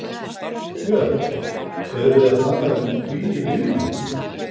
Björn: Erum við að tala um tugi milljóna?